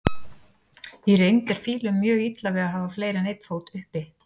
Í reynd er fílum mjög illa við að hafa fleiri en einn fót uppi.